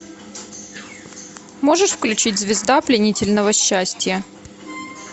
можешь включить звезда пленительного счастья